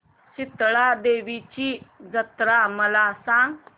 शितळा देवीची जत्रा मला सांग